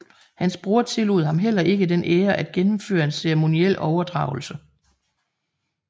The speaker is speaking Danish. Hans bror tillod ham heller ikke den ære at gennemføre en ceremoniel overdragelse